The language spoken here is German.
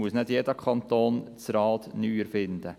Nicht jeder Kanton muss das Rad neu erfinden.